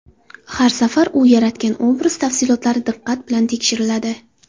Har safar u yaratgan obraz tafsilotlari diqqat bilan tekshiriladi.